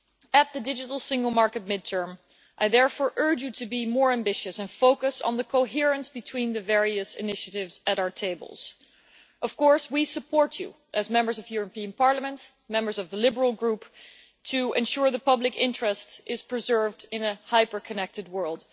At the digital single market mid term, I therefore urge you to be more ambitious and focus on the coherence between the various initiatives at our tables. Of course, we support you as Members of the European Parliament, members of the Liberal Group, to ensure the public interest is preserved in a hyper connected world.